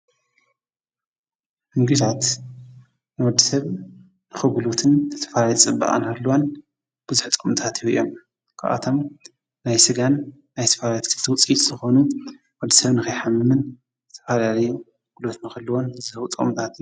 ምግብታት ንወድሰብ ንክጉልበትን ዝተፈላለየ ፅባቀን ክህልዎን ቡዙሕ ጥቅምታት ይህቡ እዩም። ካብኣቶም ናይ ስጋ ናይ ዝተፈላለዩ ውፅኣኢታት ዝኾኑ ወዲሰብ ንክይሓምምን ዝተሀላለዩ ዑደት ንክሕልዎን ዝህቡ ጥቅምታት።